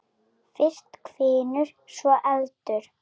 Fyrst hvinur, svo eldur.